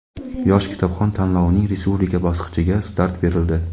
"Yosh kitobxon" tanlovining respublika bosqichiga start berildi!.